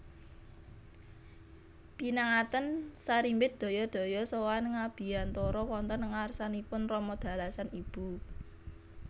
Pinanganten sarimbit daya daya sowan ngabiyantoro wonten ngarsanipun rama dalasan ibu